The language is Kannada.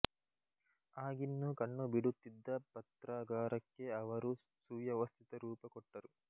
ಆಗಿನ್ನೂ ಕಣ್ಣು ಬಿಡುತಿದ್ದ ಪತ್ರಾಗಾರಕ್ಕೆ ಅವರು ಸುವ್ಯವಸ್ಥಿತ ರೂಪ ಕೊಟ್ಟರು